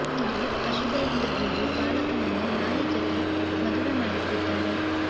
ಇದು ಅಶುಭ ಎಂದು ಹೇಳಿ ಬಾಲಕನನ್ನು ನಾಯಿ ಜೊತೆ ಮದುವೆ ಮಾಡಿಸಿದ್ದಾರೆ